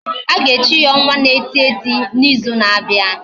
Aga echi ya onwa na eti eti na izu na abia?